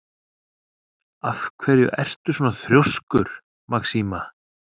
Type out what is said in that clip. Af hverju ertu svona þrjóskur, Maxima?